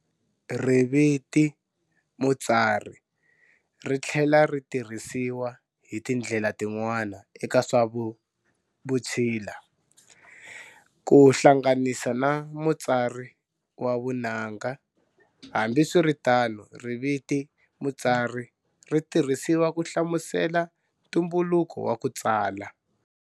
Riviti"Mutsari" rithlela ritirhisiwa hi tindlel tin'wana eka swa Vutshila-ku hlanganisa na mutsari wa vunanga-hambi swiritano riviti"Mutsari" ritirhisiwa ku hlamusela ntumbuluko wa ku tsala.